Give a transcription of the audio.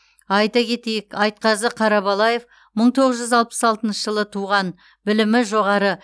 айта кетейік айтқазы қарабалаев мың тоғыз жүз алпыс алтыншы жылы туған білімі жоғары